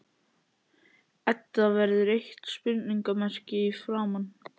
Edda verður eitt spurningarmerki í framan.